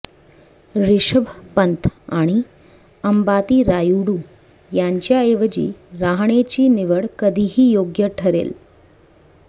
रिषभ पंत आणि अंबाती रायुडू यांच्याऐवजी रहाणेची निवड कधीही योग्य ठरेल